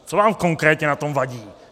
Co vám konkrétně na tom vadí?